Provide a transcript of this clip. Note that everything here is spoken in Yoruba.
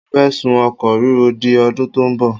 Mo fẹ́ sún oko rírọ di ọdún tó ń bọ̀.